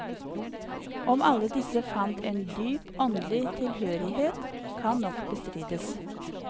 Om alle disse fant en dyp åndelig tilhørighet, kan nok bestrides.